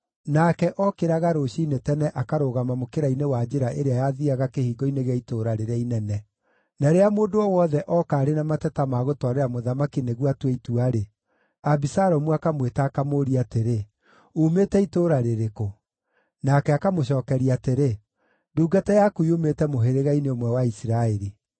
Nake ookĩraga rũciinĩ tene akarũgama mũkĩra-inĩ wa njĩra ĩrĩa yathiiaga kĩhingo-inĩ gĩa itũũra rĩrĩa inene. Na rĩrĩa mũndũ o wothe ooka arĩ na mateta ma gũtwarĩra mũthamaki nĩguo atue itua-rĩ, Abisalomu akamwĩta, akamũũria atĩrĩ, “Uumĩte itũũra rĩrĩkũ?” Nake akamũcookeria atĩrĩ, “Ndungata yaku yumĩte mũhĩrĩga-inĩ ũmwe wa Isiraeli.”